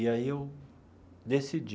E aí eu decidi